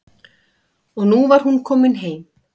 Og nú var hún komin heim.